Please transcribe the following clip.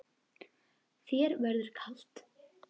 Þér verður kalt